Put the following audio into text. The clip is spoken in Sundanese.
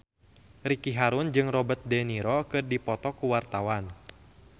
Ricky Harun jeung Robert de Niro keur dipoto ku wartawan